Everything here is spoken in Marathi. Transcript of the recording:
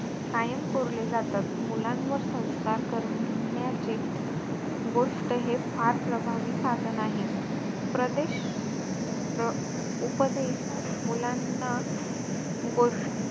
कायम कोरले जातात मुलांवर संस्कार करण्याचे, गोष्ट हे फार प्रभावी साधन आहे. प्रदेश प्र~ उपदेश मुलांना गोष्ट,